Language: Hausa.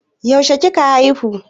Yaushe kika haihu?